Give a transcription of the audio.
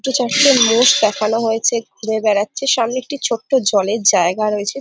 দুটো চারটে মোষ দেখানো হয়েছে ঘুরে বেড়াচ্ছেসামনে একটি ছোট্ট জলের জায়গা রয়েছে ।